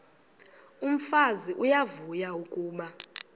umfazi uyavuya kuba